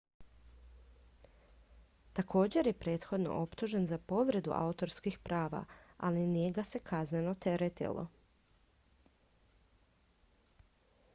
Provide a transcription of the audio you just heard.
također je prethodno optužen za povredu autorskih prava ali nije ga se kazneno teretilo